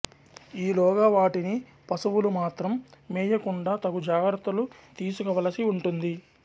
ఈలోగా వాటిని పశువులు మాత్రం మేయకుండా తగు జాగ్రత్తలు తీసుకోవలసి వుంటుంది